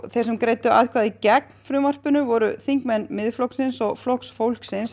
þeir sem greiddu atkvæði gegn frumvarpinu voru þingmenn Miðflokksins og Flokks fólksins